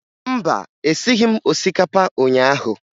Mba, esighi m osikapa ụnyaahụ